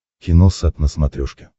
киносат на смотрешке